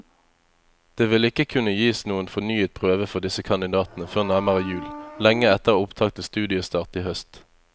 Det vil ikke kunne gis noen fornyet prøve for disse kandidatene før nærmere jul, lenge etter opptak til studiestart i høst.